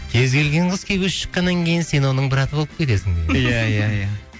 кез келген қыз күйеуге шыққаннан кейін сен оның браты болып кетесің иә иә иә